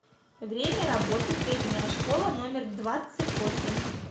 время работы средняя школа номер двадцать восемь